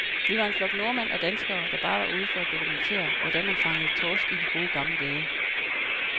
Vi var en flok nordmænd og danskere, der bare var ude for at dokumentere, hvordan man fangede torsk i de gode, gamle dage.